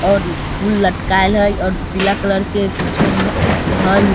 और फूल लटकायल हेय और पीला कलर के कुछो हे है।